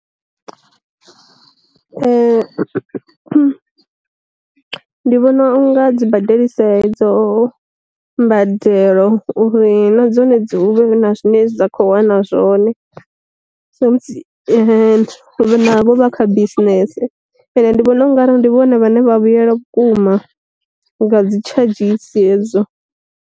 Ndi vhona u nga dzi badelisa e dzo mbadelo uri na dzone dzi huvhe na zwine dza kho wana zwone, so musi vha navho vha kha bisinese. Ende ndi vhona ungari ndi vhone vhane vha vhuyelwa vhukuma nga dzi tshadzhisi hedzo.